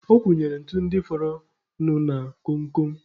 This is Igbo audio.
Ọ wụnyere ntu ndị fọrọ nụ na kom kom.